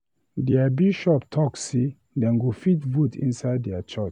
Their Bishop talk say dem go fit vote inside their church